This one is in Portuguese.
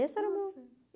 Esse era o meu.